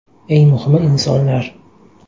Eng muhimi insonlar.